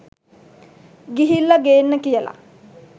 ගිහිල්ල ගේන්න කියල